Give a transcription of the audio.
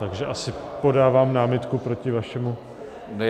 Takže asi podávám námitku proti vašemu...